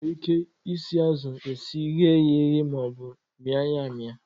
E nwere ike isi azụ esi, ighe ya eghe, ma ọ bụ ịmị ya amị.